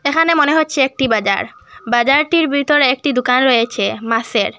এখানে মনে হচ্ছে একটি বাজার বাজারটির বিতর একটি দুকান রয়েছে মাসের।